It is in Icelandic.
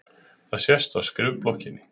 Það sést á skrifblokkinni.